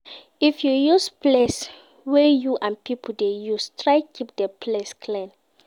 If you use place wey you and pipo de use try keep di place clean